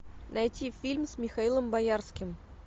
найти фильм с михаилом боярским